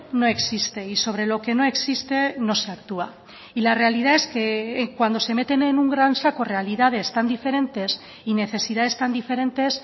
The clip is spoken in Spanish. no existe y sobre lo que no existe no se actúa y la realidad es que cuando se meten en un gran saco realidades tan diferentes y necesidades tan diferentes